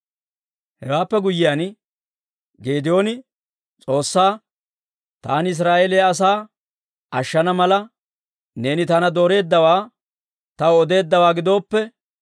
Hewaappe guyyiyaan Geedooni S'oossaa, «Taani Israa'eeliyaa asaa ashshana mala, neeni taana dooreeddawaa taw odeeddawaa gidooppe,